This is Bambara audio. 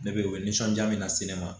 Ne bɛ u bɛ nisɔndiya min lase ne ma